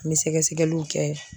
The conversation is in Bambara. An bɛ sɛgɛsɛgɛliw kɛ.